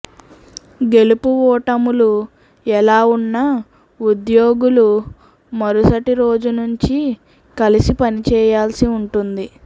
గెలుపు ఓటములు ఎలా ఉన్నా ఉద్యోగులు మరుసటి రోజునుంచి కలసి పనిచేయాల్సి ఉంటుంది